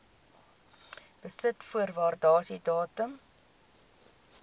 besit voor waardasiedatum